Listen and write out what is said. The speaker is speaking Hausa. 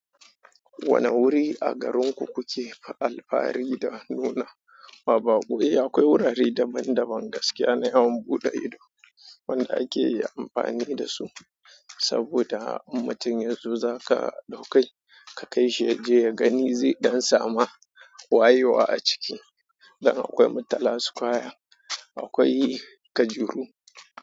Wane wuri a garinku kuke fa alfari da nuna? Baba, gobe akwai wurare daban-daban gaskiya na yawan buɗe ido wanda ake iya amfani da su saboda in mutum ya zo za ka ɗauke ka kai shi ya je ya gani zai ɗan samu wayewa a ciki. Dan akwai Murtala Square, akwai Kajuru.